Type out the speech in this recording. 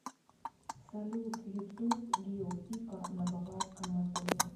салют ютуб гио пика на баварском моторе